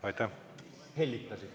Aitäh!